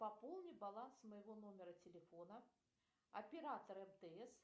пополни баланс моего номера телефона оператор мтс